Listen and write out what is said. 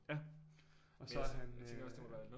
Ja og så er han øh